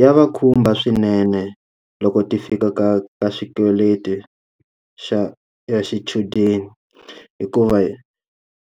Ya va khumba swinene loko ti fika ka ka xikweleti xa ya xichudeni, hikuva